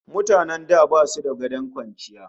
Mutanen da basu da gadon kwanciya